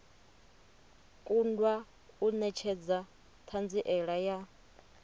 kundwa u netshedza thanziela ya